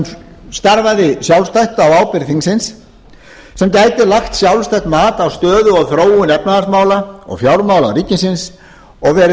sem starfaði sjálfstætt á ábyrgð þingsins sem gæti lagt sjálfstætt mat á stöðu og þróun efnahagsmála og fjármála ríkisins og verið